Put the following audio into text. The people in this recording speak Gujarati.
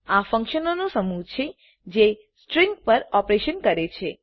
આ ફંકશનોનું સમૂહ છે જે સ્ટ્રીંગ પર ઓપરેશન કરે છે